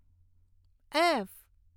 F